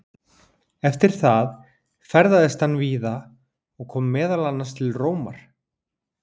Eftir það ferðaðist hann víða og kom meðal annars til Rómar.